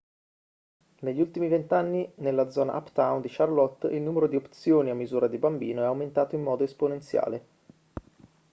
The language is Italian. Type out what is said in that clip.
negli ultimi 20 anni nella zona uptown di charlotte il numero di opzioni a misura di bambino è aumentato in modo esponenziale